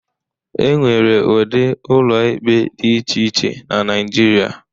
E nwere ụdị ụlọ ikpe dị iche iche na Naịjirịa.